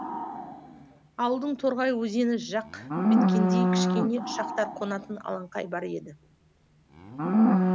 ауылдың торғай өзені жақ беткейінде кішкене ұшақтар қонатын алаңқай бар еді